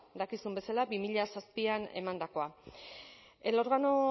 dakizuen bezala bi mila zazpian emandakoa el órgano